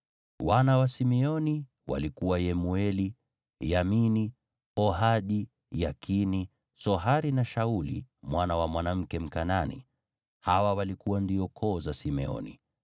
Wana wa Simeoni walikuwa Yemueli, Yamini, Ohadi, Yakini, Sohari na Shauli mwana wa mwanamke Mkanaani. Hawa walikuwa ndio koo za Simeoni.